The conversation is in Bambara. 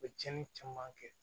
U bɛ tiɲɛni caman kɛ